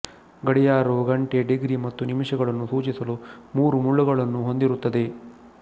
ಗಡಿಯಾರವು ಗಂಟೆ ಡಿಗ್ರಿ ಮತ್ತು ನಿಮಿಷಗಳನ್ನು ಸೂಚಿಸಲು ಮೂರು ಮುಳ್ಳುಗಳನ್ನು ಹೊಂದಿರುತ್ತದೆ